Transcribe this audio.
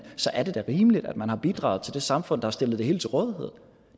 så er det da rimeligt at man har bidraget til det samfund der stiller det hele til rådighed